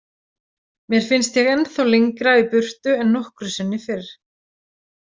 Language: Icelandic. Mér finnst ég ennþá lengra í burtu en nokkru sinni fyrr.